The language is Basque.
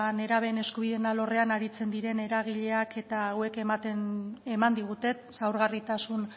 nerabeen eskubideen alorrean aritzen diren eragileak eta hauek eman diguten zaurgarritasun